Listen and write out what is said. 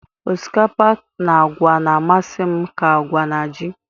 osikapa na agwa na-amasị m ka agwa na ji